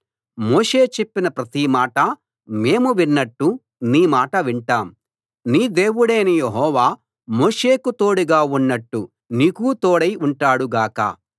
మోషే చెప్పిన ప్రతి మాటా మేము విన్నట్టు నీ మాటా వింటాం నీ దేవుడైన యెహోవా మోషేకు తోడుగా ఉన్నట్టు నీకూ తోడై ఉంటాడు గాక